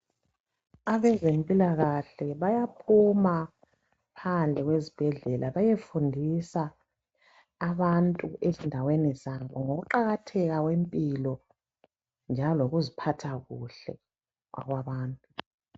Abezempilakahle bayaphuma phandle kwezibhedlela bayefundisa abantu ezindaweni zabo, ngokuqakatheka kwempilo njalo lokuziphatha kuhle kwabantu.